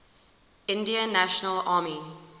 indian national army